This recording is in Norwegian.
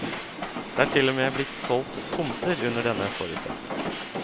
Det er til og med blitt solgt tomter under denne forutsetning.